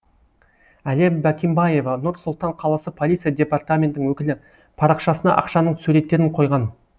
әлия бакимбаева нұр сұлтан қаласы полиция департаментінің өкілі парақшасына ақшаның суреттерін қойған